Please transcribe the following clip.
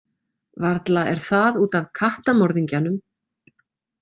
Varla er það út af kattamorðingjanum.